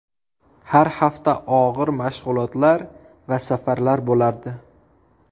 Har hafta og‘ir mashg‘ulotlar va safarlar bo‘lardi.